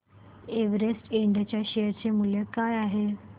Everest इंड च्या share चे मूल्य काय आहे